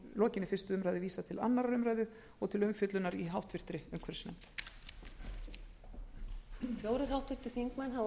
lokinni þessari umræðu vísað til síðari umræðu og til umfjöllunar í háttvirtri umhverfisnefnd